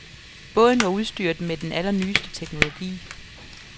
Båden var udstyret med den allernyeste teknologi.